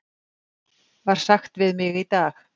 var sagt við mig í dag.